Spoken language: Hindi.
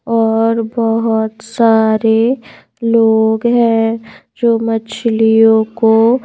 और बहुत सारे लोग हैं जो मछलियों को--